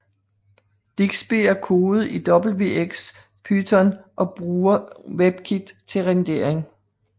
Digsby er kodet i wxPython og bruger Webkit til rendering